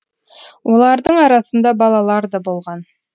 олардың арасында балалар да болған